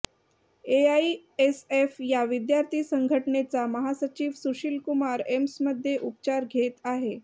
AISF या विद्यार्थी संघटनेचा महासचिव सुशील कुमार एम्समध्ये उपचार घेत आहे